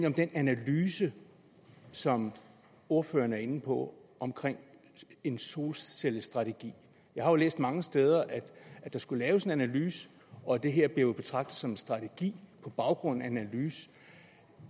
om den analyse som ordføreren er inde på omkring en solcellestrategi jeg har læst mange steder at der skulle laves en analyse og det her blev jo betragtet som en strategi på baggrund af en analyse